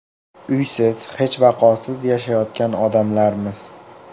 Uysiz, hech vaqosiz yashayotgan odamlarmiz.